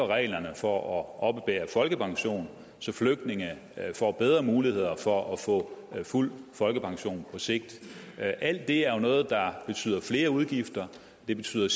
reglerne for at oppebære folkepension så flygtninge får bedre muligheder for at få fuld folkepension på sigt alt det er jo noget der betyder flere udgifter det betyder